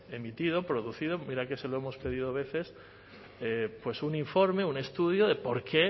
emitido producido mira que se lo hemos pedido veces un informe un estudio de por qué